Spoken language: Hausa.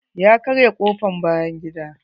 Ya karya kofr bayan gida.